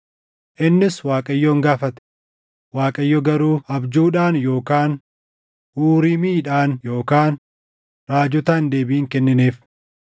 Innis Waaqayyoon gaafate; Waaqayyo garuu abjuudhaan yookaan Uriimiidhaan yookaan raajotaan deebii hin kennineef.